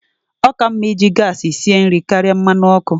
Ọ ka mma iji gas sie nri karịa mmanụ ọkụ.